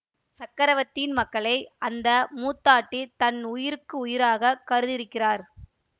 சக்கரவர்த்தியின் மக்களை அந்த மூத்தாட்டி தம் உயிருக்கு உயிராகக் கருதியிருக்கிறார்